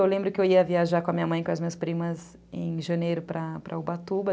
Eu lembro que eu ia viajar com a minha mãe e com as minhas primas em janeiro para Ubatuba.